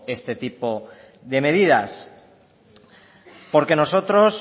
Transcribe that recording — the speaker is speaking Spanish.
este tipo de medidas porque nosotros